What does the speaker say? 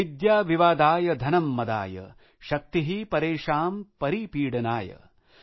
विद्या विवादाय धनं मदाय शक्ति परेषां परिपीडनाय ।